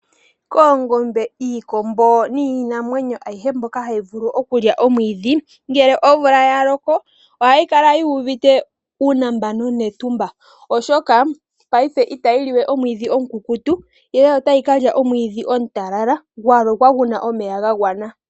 Koongombe, iikombo niinamwenyo ayihe mbyoka hayi vulu okulya omwiidhi, ngele omvula ya loko ohayi kala yi uvite uunambano netumba, oshoka paife itayi liwe omwiidhi omukukutu ihe otayi ka lya omwiidhi omutalala, gwa lokwa gu na omeya ga gwana.